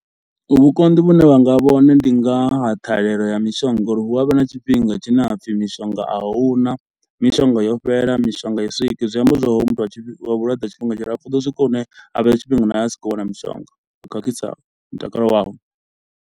Vhukonḓi vhune vhanga vha hone ndi nga ha ṱhahelelo ya mishonga ngo uri hu avha na tshifhinga tshine ha pfhi mishonga a huna, mishonga yo fhela, mishonga ai swiki. Zwi amba zwa uri hoyu muthu a tshi wa vhulwadze tshifhinga tshilapfhu u ḓo swika hune a na asi khou wana mishonga, zwi khakhisa mutakalo wawe.